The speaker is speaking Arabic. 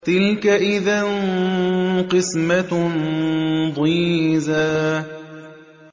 تِلْكَ إِذًا قِسْمَةٌ ضِيزَىٰ